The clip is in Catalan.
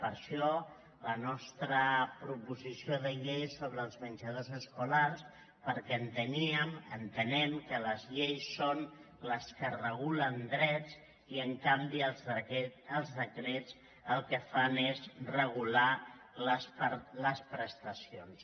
per això la nostra proposició de llei sobre els menjadors escolars perquè enteníem entenem que les lleis són les que regulen drets i en canvi els decrets el que fan és regular les prestacions